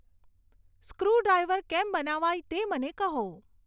screwdriver કેમ બનાવાય તે મને કહો